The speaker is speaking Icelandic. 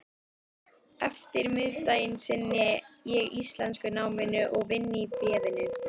eftirmiðdaginn sinni ég íslenskunáminu og vinn í Bréfinu.